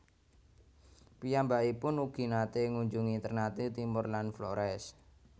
Piyambakipun ugi naté ngunjungi Ternate Timor lan Flores